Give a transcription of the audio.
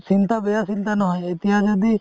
চিন্তা বেয়া চিন্তা নহয় এতিয়া যদি